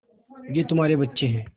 ये तुम्हारे बच्चे हैं